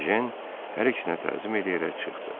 Ejen hər ikisinə təzim eləyərək çıxdı.